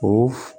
O